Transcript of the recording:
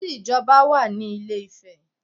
There is an express way in Ilé Ife